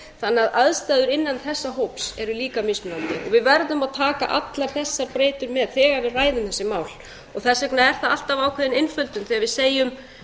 þannig að aðstæður innan þessa hóps eru líka mismunandi við verðum að taka allar þessar breytur með þegar við ræðum þessi mál þess vegna er það alltaf einföldun þegar við segjum